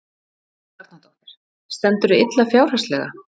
Helga Arnardóttir: Stendurðu illa fjárhagslega?